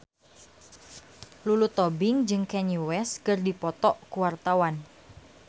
Lulu Tobing jeung Kanye West keur dipoto ku wartawan